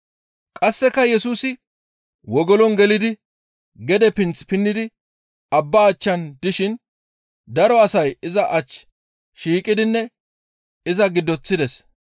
Qasseka Yesusi wogolon gelidi gede pinth pinnidi abbaa achchan dishin daro asay iza ach shiiqidinne iza giddoththides.